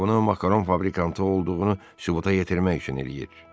O, bunu makaron fabrikanı olduğu sübuta yetirmək üçün eləyir.